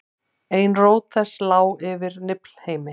ein rót þess lá yfir niflheimi